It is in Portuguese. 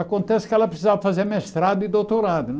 Acontece que ela precisava fazer mestrado e doutorado, né?